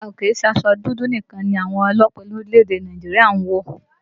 Rárá o, kìí ṣe aṣọ dúdú nìkan ni àwọn ọlọ́pàá orílẹ̀èdè Nàìjíríà ń wọ̀